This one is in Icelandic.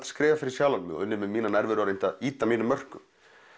skrifað fyrir sjálfan mig unnið með mína nærveru og reynt að ýta mínum mörkum